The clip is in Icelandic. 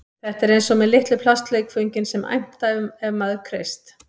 Þetta er eins og með litlu plastleikföngin sem æmta ef maður kreist